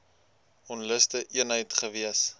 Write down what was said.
onluste eenheid gewees